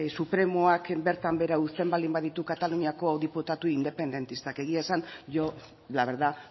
supremoak bertan behera uzten baldin baditu kataluniako diputatu independentistak egia esan yo la verdad